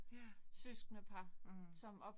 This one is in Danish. Ja. Mh